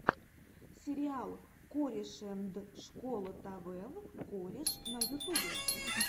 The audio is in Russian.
сериал корешэндшколотавев кореш на ютубе